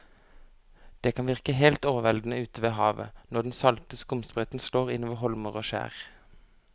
Det kan virke helt overveldende ute ved havet når den salte skumsprøyten slår innover holmer og skjær.